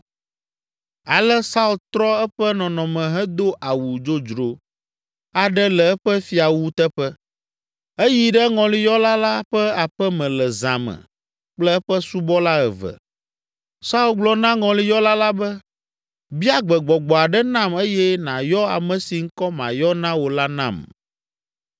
Ale Saul trɔ eƒe nɔnɔme hedo awu dzodzro aɖe le eƒe fiawu teƒe. Eyi ɖe ŋɔliyɔla la ƒe aƒe me le zã me kple eƒe subɔla eve. Saul gblɔ na ŋɔliyɔla la be, “Bia gbe gbɔgbɔ aɖe nam eye nàyɔ ame si ŋkɔ mayɔ na wò la nam.”